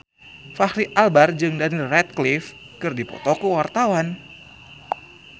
Fachri Albar jeung Daniel Radcliffe keur dipoto ku wartawan